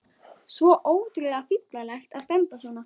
Svo ótrúlega fíflalegt að standa svona.